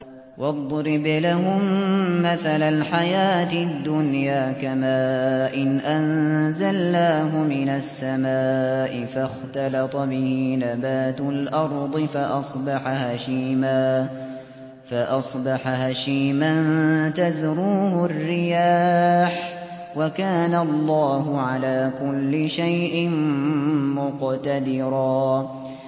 وَاضْرِبْ لَهُم مَّثَلَ الْحَيَاةِ الدُّنْيَا كَمَاءٍ أَنزَلْنَاهُ مِنَ السَّمَاءِ فَاخْتَلَطَ بِهِ نَبَاتُ الْأَرْضِ فَأَصْبَحَ هَشِيمًا تَذْرُوهُ الرِّيَاحُ ۗ وَكَانَ اللَّهُ عَلَىٰ كُلِّ شَيْءٍ مُّقْتَدِرًا